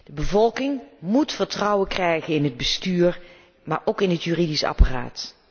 De bevolking moet vertrouwen krijgen in het bestuur, maar ook in het juridisch apparaat.